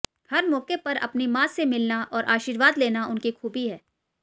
हर मौके पर अपनी मां से मिलना और आशीर्वाद लेना उनकी खूबी है